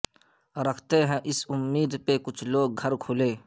رکھتے ہیں اس امید پہ کچھ لوگ گھر کھلے